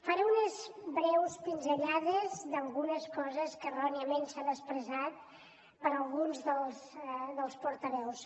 faré unes breus pinzellades d’algunes coses que erròniament s’han expressat per alguns dels portaveus